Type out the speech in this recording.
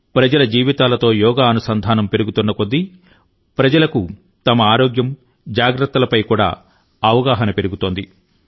ప్రజల జీవితాలతో యోగా అనుసంధానం పెరుగుతోన్న కొద్దీ ప్రజలకు తమ ఆరోగ్యం జాగ్రత్తలపై అవగాహన కూడా పెరుగుతోంది